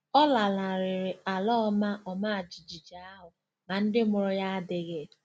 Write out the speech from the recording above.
Ọ lanarịrị ala ọma ọma jijiji ahụ, ma ndị mụrụ ya adịghị.